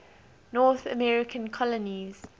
north american colonies